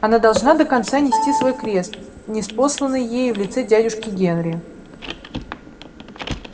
она должна до конца нести свой крест ниспосланный ей в лице дядюшки генри